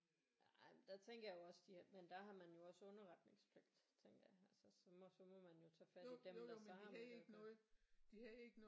Ja ej der tænker jeg jo også de har men der har man jo også underretningspligt tænker jeg her så må så må man jo tage fat i dem der så har med det at gøre